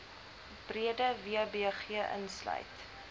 breede wbg insluit